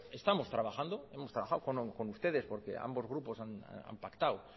estamos trabajando hemos trabajado con ustedes porque ambos grupos han pactado